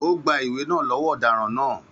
Ó gba ìwé náà lọ́wọ́ ọ̀daràn náà.